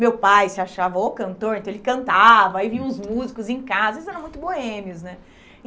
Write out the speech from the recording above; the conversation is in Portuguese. Meu pai se achava o cantor, então ele cantava, aí vinham os músicos em casa, isso era muito boêmios, né?